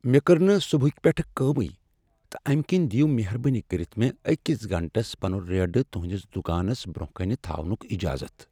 مےٚ کٔر نہٕ صبحٕکہ پیٹھٕ کٲمٕے تہٕ امہ کنۍ دیو مہربٲنی کٔرتھ مےٚ أکس گٲنٛٹس پنن ریڑٕ تہنٛدس دکانس برٛۄنٛہہ کنہ تھاونُک اجازت۔